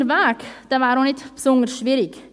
Der Weg dorthin wäre auch nicht besonders schwierig.